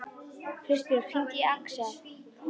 Kristbjörg, hringdu í Aksel.